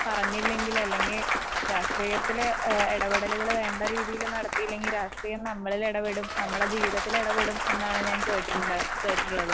പറഞ്ഞില്ലെങ്കില് അല്ലെങ്കിൽ രാഷ്ട്രീയത്തില് ഏഹ് ഇടപെടലുകൾ വേണ്ടരീതിയിൽ നടത്തിയില്ലെങ്കിൽ രാഷ്ട്രീയം നമ്മളിൽ ഇടപെടും നമ്മുടെ ജീവിതത്തിൽ ഇടപെടും എന്നാണ് ഞാൻ കേട്ടിട്ടുള്ള കേട്ടിട്ടുള്ളത് .